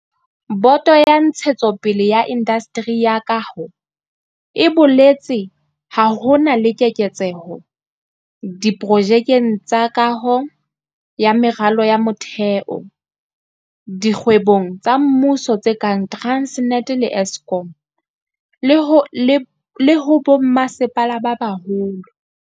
Boto ya Ntshetsopele ya Indasteri ya tsa Kaho e boletse ha ho na le keketseho diprojekeng tsa kaho ya meralo ya motheo dikgwebong tsa mmuso tse kang Transnet le Eskom, le ho bommasepala ba baholo.